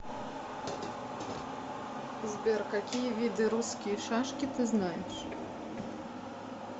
сбер какие виды русские шашки ты знаешь